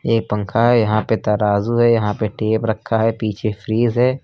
ये पंखा है यहां पे तराजू है यहां पे टेप रखा है पीछे फ्रिज है।